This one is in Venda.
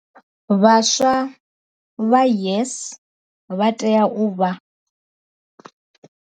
Vhaswa vha YES vha tea u vha.